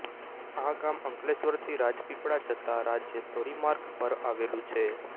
આ ગામ અંકલેશ્વરથી રાજપીપળા જતા રાજ્ય ધોરીમાર્ગ પર આવેલું છે